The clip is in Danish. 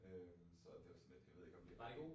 Så det var sådan lidt jeg ved ikke om det